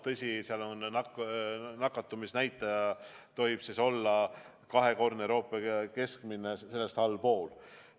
Tõsi, nende riikide nakatumisnäitaja tohib olla kahekordsest Euroopa keskmisest allpool.